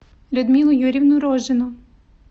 людмилу юрьевну рожину